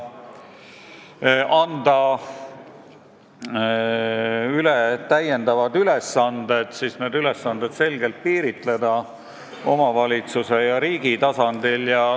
Tuleks anda üle veel ülesanded ning siis need selgelt piiritleda omavalitsuse ja riigi tasandil.